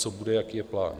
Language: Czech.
Co bude, jaký je plán?